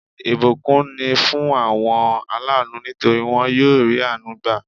Ìbùkún ni fún àwọn aláànú nítorí won yóò rí àánú gbà